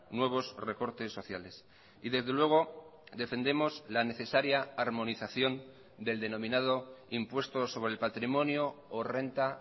nuevos recortes sociales y desde luego defendemos la necesaria armonización del denominado impuesto sobre el patrimonio o renta